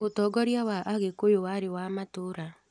ũtongoria wa agĩkũyũ warĩ wa matũũra